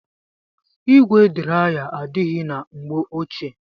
Igwe draya adaghi na mgbe ochie.